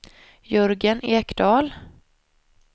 Jörgen Ekdahl